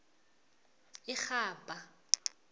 irhabha